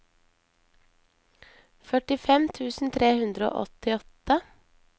førtifem tusen tre hundre og åttiåtte